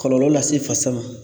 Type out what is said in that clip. Kɔlɔlɔ lase fasa ma